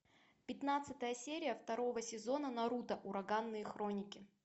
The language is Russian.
пятнадцатая серия второго сезона наруто ураганные хроники